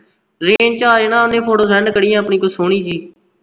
range ਵਿੱਚ ਆ ਜਾਣਾ ਓਹਨੇ photosend ਕਰੀ ਆਪਣੀ ਕੋਈ ਸੋਹਣੀ ਜੀ